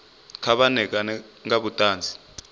kha vha ṋekane nga vhuṱanzi